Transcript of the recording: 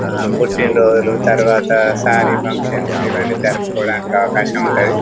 ఆ పుట్టినరోజులు తరువాత సారీ ఫంక్షన్స్ ఇవి అన్ని జరుపుకోడానికి ఆవకాశం ఉంటాది.